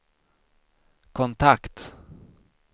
kontakt